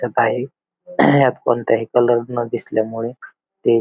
त्यात आहे ह्यात कोणत्याही कलर न दिसल्यामुळे ते--